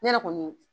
Ne yɛrɛ kɔni